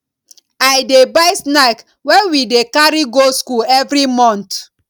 i dey buy snack wey we dey carry go skool every month